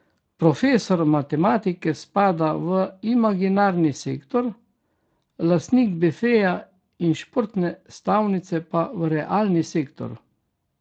Profesor matematike spada v imaginarni sektor, lastnik bifeja in športne stavnice pa v realni sektor.